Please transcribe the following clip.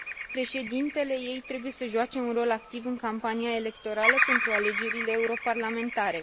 președintele ei trebuie să joace un rol activ în campania electorală pentru alegerile europarlamentare.